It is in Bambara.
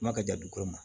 Kuma ka jan dugukolo ma